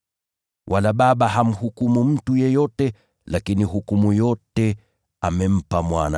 Wala Baba hamhukumu mtu yeyote, lakini hukumu yote amempa Mwana,